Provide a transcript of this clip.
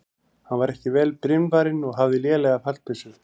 Hann var ekki vel brynvarinn og hafði lélega fallbyssu.